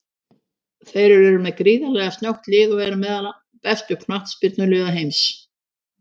Þeir eru með gríðarlega snöggt lið og eru meðal bestu knattspyrnuliða heimsins.